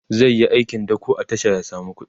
zaiyi aikin dako a tasha ya samu kuɗi